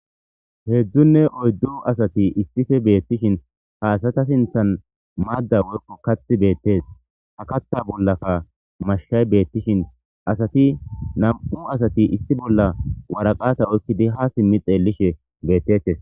Hedzdzunne oyddu asatti issippe betishsin ha asatta sinththan madam woyko kaththi bettes. Ha kaththa bollakka mashshay betishin nam''u asatti issi bolla woraqata oykiddi ha simi xeelishin bettetes.